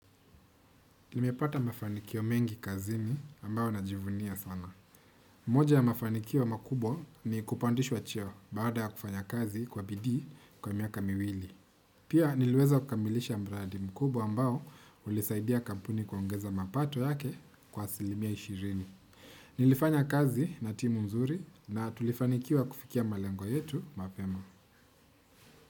Nimepata mafanikio mengi kazini ambao najivunia sana. Moja ya mafanikio makubwa ni kupandishwa cheo baada ya kufanya kazi kwa bidii kwa miaka miwili. Pia niliweza kukamilisha mradi mkubwa ambao ulisaidia kampuni kuongeza mapato yake kwa asilimia ishirini. Nilifanya kazi na timu nzuri na tulifanikiwa kufikia malengo yetu mapema.